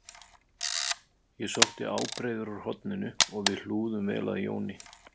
Ég sótti ábreiður úr horninu og við hlúðum vel að Jóni